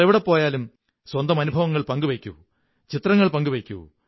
നിങ്ങൾ എവിടെ പോയാലും സ്വന്തം അനുഭവങ്ങൾ പങ്കുവയ്ക്കൂ ചിത്രങ്ങൾ പങ്കുവയ്ക്കൂ